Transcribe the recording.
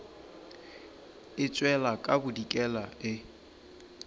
e tšwela ka bodikela e